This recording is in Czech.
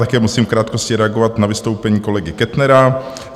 Také musím v krátkosti reagovat na vystoupení kolegy Kettnera.